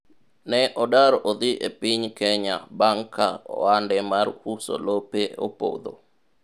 ne odar odhi e piny Kenya bang' ka ohande mar uso lope opodho